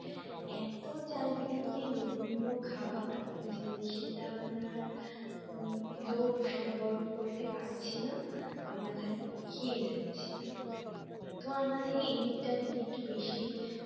এত চারিদিকে লোভনীয় খাবার যে সেটা আমরা আর উম লোভ সংবরণ করতে পারছি না আমরা খালি খেয়ে যাচ্ছে তো আমাদের এই দিকটা দিকে একটু বেশি